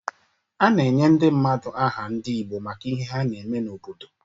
A na-enye ndị mmadụ aha ndị Igbo maka ihe ha na-eme n’obodo.